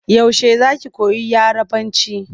Yaushe za ki koyi Yarabanci?